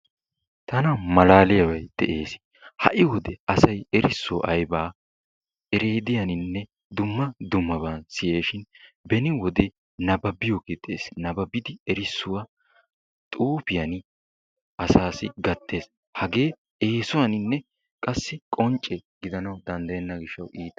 Tana malaaliyabay de'ees. Ha"i wode asay erissuwa aybaa ereediyaninne dumma dummaban siyees shin beni wode nabbabiyogee dees. Nabbabidi erissuwa xuufiyan asaassi gattees. Hagee eesuwaninne qassi qoncce gidanawu danddayenna gishshawu iita.